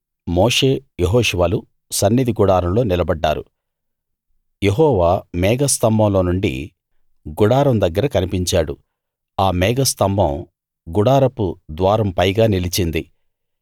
మోషే యెహోషువలు సన్నిధి గుడారంలో నిలబడ్డారు యెహోవా మేఘస్తంభంలో నుండి గుడారం దగ్గర కనిపించాడు ఆ మేఘస్తంభం గుడారపు ద్వారం పైగా నిలిచింది